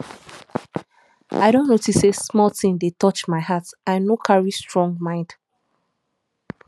i don notice say small thing dey touch my heart i no carry strong mind